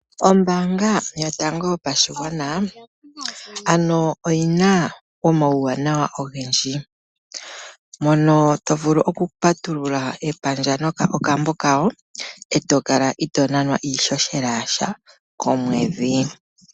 Ombaanga yotango yopashigwana ano oyina omauwanawa ogendji, mono tovulu oku patulula epandja nenge okambo koye etokala itoo nanwa iihohela yasha komwedhi.